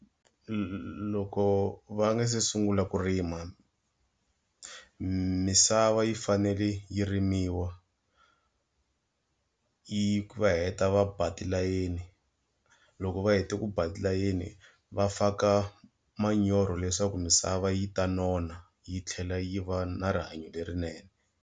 Loko va nga se sungula ku rima, misava yi fanele yi rimiwa yi va heta va ba tilayeni. Loko va heta ku ba layeni, va faka manyoro leswaku misava yi ta nona yi tlhela yi va na rihanyo lerinene.